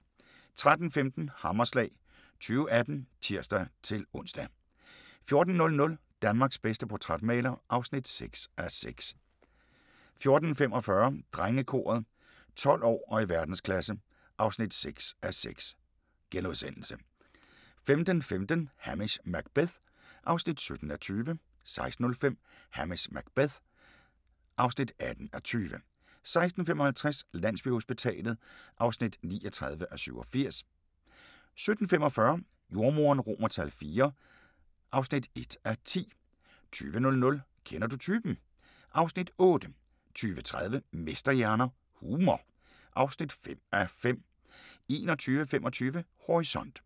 13:15: Hammerslag 2018 (tir-ons) 14:00: Danmarks bedste portrætmaler (6:6) 14:45: Drengekoret – 12 år og i verdensklasse (6:6)* 15:15: Hamish Macbeth (17:20) 16:05: Hamish Macbeth (18:20) 16:55: Landsbyhospitalet (39:87) 17:45: Jordemoderen IV (1:10) 20:00: Kender du typen? (Afs. 8) 20:30: Mesterhjerner – Humor (5:5) 21:25: Horisont